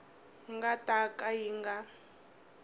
nga ta ka yi nga